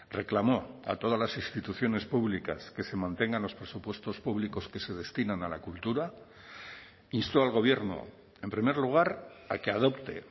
reclamó a todas las instituciones públicas que se mantengan los presupuestos públicos que se destinan a la cultura instó al gobierno en primer lugar a que adopte